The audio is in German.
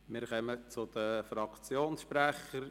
Wir kommen zu den Fraktionssprechern.